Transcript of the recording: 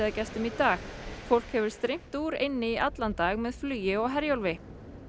í dag fólk hefur streymt úr eynni í allan dag með flugi og Herjólfi